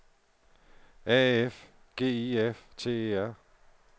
A F G I F T E R